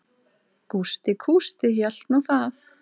Gústi kústi hélt nú það.